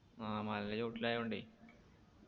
ആ മലയുടെ ചോട്ടിലായോണ്ടേ